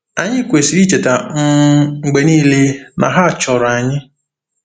Anyị kwesịrị icheta um mgbe niile na ha chọrọ anyị.